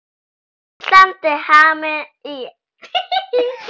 Ísland er eyja í hafinu.